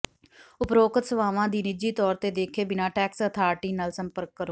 ਉਪਰੋਕਤ ਸੇਵਾਵਾਂ ਦੀ ਨਿੱਜੀ ਤੌਰ ਤੇ ਦੇਖੇ ਬਿਨਾਂ ਟੈਕਸ ਅਥਾਰਿਟੀ ਨਾਲ ਸੰਪਰਕ ਕਰੋ